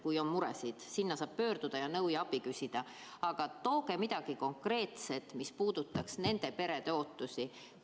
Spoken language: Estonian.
Kui on muresid, saab sinna pöörduda ja nõu ja abi küsida, aga tooge midagi konkreetset, mis puudutaks nende perede ootusi.